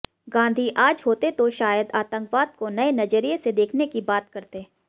गांधी आज होते तो शायद आतंकवाद को नए नजरिए से देखने की बात करते